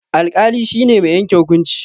Alƙali shi ne mai yanke hukunci.